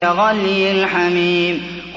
كَغَلْيِ الْحَمِيمِ